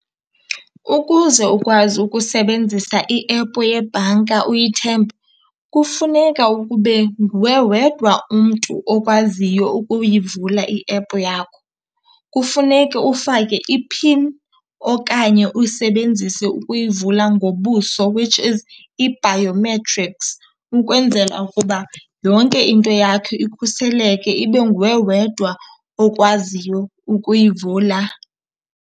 Ukuze ukwazi ukusebenzisa i-app yebhanka uyithembe kufuneka ukube nguwe wedwa umntu okwaziyo ukuyivula i-app yakho. Kufuneke ufake i-pin okanye usebenzise ukuyivula ngobuso, which is ii-biometrics, ukwenzela ukuba yonke into yakho ikhuseleke, ibe nguwe wedwa okwaziyo ukuyivula.